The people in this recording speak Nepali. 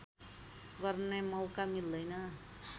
गर्ने मौका मिल्दैन